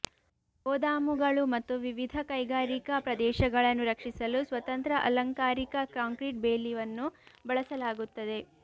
ಗೋದಾಮುಗಳು ಮತ್ತು ವಿವಿಧ ಕೈಗಾರಿಕಾ ಪ್ರದೇಶಗಳನ್ನು ರಕ್ಷಿಸಲು ಸ್ವತಂತ್ರ ಅಲಂಕಾರಿಕ ಕಾಂಕ್ರೀಟ್ ಬೇಲಿವನ್ನು ಬಳಸಲಾಗುತ್ತದೆ